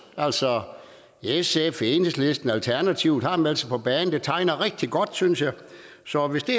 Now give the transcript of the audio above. altså sf enhedslisten og alternativet har meldt sig på banen så det tegner rigtig godt synes jeg så hvis det